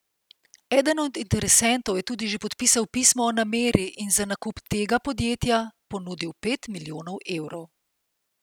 Eden od interesentov je tudi že podpisal pismo o nameri in za nakup tega podjetja ponudil pet milijonov evrov.